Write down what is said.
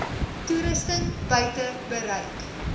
toerusting buite bereik